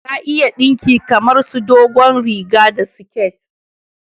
Ta iya dinki kamar su dogon riga da siket